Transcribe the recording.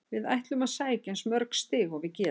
Við ætlum að sækja eins mörg stig og við getum.